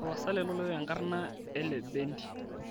tapasali tolikioki enkarna elebendi